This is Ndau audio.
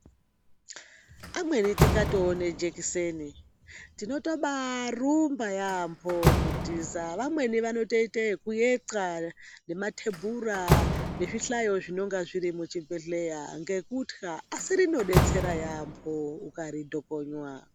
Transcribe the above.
Amweni tikatoona jekiseni tinotobarumba yaemho kutiza vamweni vanotoite ekueqa nemathebhura nezvihlayo zvinenge zviri muchibhedhlera ngekutya asi rinodetsera yaemho ukaritokonywa.